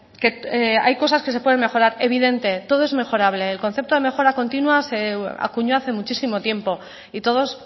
que hay cosas que se pueden mejorar evidente todo es mejorable el concepto de mejora continua se acuñó hace muchísimo tiempo y todos